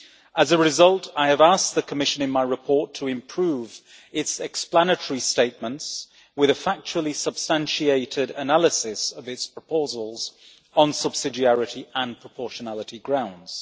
As a result, I have asked the Commission in my report to improve its explanatory statements with a factually substantiated analysis of its proposals on subsidiarity and proportionality grounds.